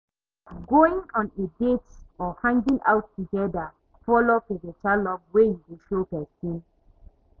going on a date or hanging out together follow for beta love wey you go show pesin.